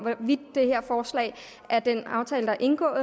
af hvorvidt det her forslag er den aftale der er indgået